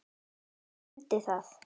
Mundi það.